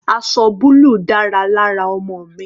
Aṣọ búlù dára lára ọmọ mi.